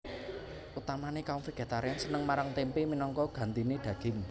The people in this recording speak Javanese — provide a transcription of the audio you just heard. Utamané kaum vegetarian seneng marang témpé minangka gantiné daging